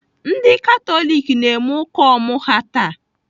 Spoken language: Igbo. Ndị Katọlik na-eme ụka ọmụ ha taa.